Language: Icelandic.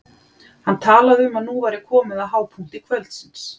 Hann talaði um að nú væri komið að hápunkti kvöldsins.